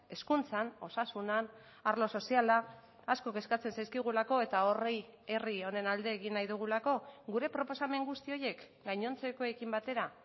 hezkuntzan osasunean arlo soziala asko kezkatzen zaizkigulako eta horri herri honen alde egin nahi dugulako gure proposamen guzti horiek gainontzekoekin batera